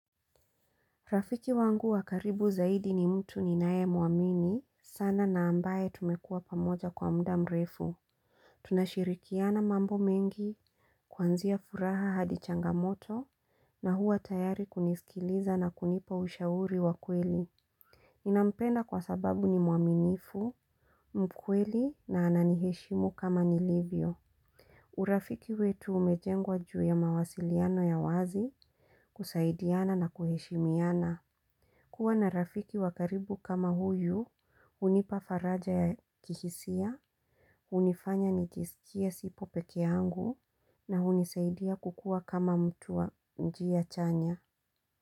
Rafiki wangu wa karibu zaidi ni mtu ninaye mwamini, sana na ambaye tumekua pamoja kwa muda mrefu. Tunashirikiana mambo mengi, kuanzia furaha hadi changamoto, na hua tayari kunisikiliza na kunipa ushauri wa kweli. Ninampenda kwa sababu ni mwaminifu, mkweli na ananiheshimu kama nilivyo. Urafiki wetu umejengwa juu ya mawasiliano ya wazi, kusaidiana na kuheshimiana. Kuwa na rafiki wa karibu kama huyu, unipa faraja ya kihisia, unifanya nijisikia sipo pekee yangu na unisaidia kukua kama mtu wa njia chanya.